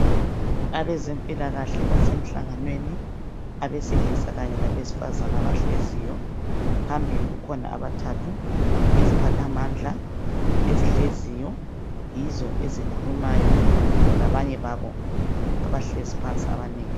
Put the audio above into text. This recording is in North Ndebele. Abezempilakahle basemhlanganweni abaselisa kanye labezifazana abahleziyo phambili kukhona amathathu iziphathamandla ezihleziyo yizo ezikhulumayo labanye babo abahlezi phansi abanengi.